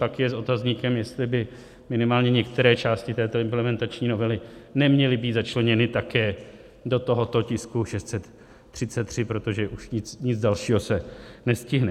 Pak je s otazníkem, jestli by minimálně některé části této implementační novely neměly být začleněny také do tohoto tisku 633, protože už nic dalšího se nestihne.